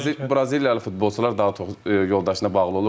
Yox Braziliyalı futbolçular daha çox yoldaşına bağlı olur.